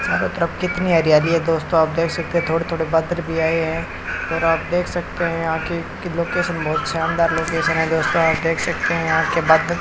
मतलब कितनी हरियाली है दोस्तों आप देख सकते थोड़े थोड़े बादल भी आए हैं और आप देख सकते हैं आखिर की लोकेशन बहुत शानदार लोकेशन है दोस्तों आप देख सकते हैं यहां के बादल --